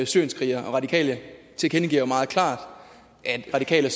syrienskrigere radikale tilkendegiver jo meget klart at radikale